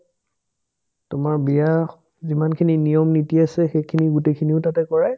তোমাৰ বিয়া স যিমানখিনি নিয়ম-নীতি আছে সেইখিনি গোটেইখিনি তাতে কৰে